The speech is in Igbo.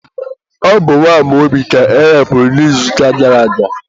ọ bụ nwa Amaobi ka erepuru n'izuụka gara aga.